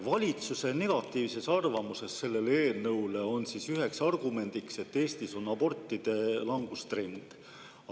Valitsuse negatiivses arvamuses selle eelnõu kohta on üks argument, et Eestis on abordid langustrendis.